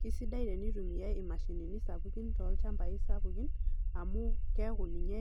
Kesidai tenitumiai imashinini sapukin tolchambai sapukin amu keaku ninye